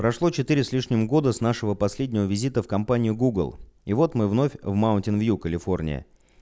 прошло четыре с лишним года с нашего последнего визита в компанию гугл и вот мы вновь в маунтин-вью калифорния